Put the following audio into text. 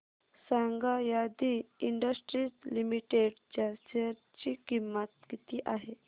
सांगा Adi industries limited च्या share ची किंमत किती आहे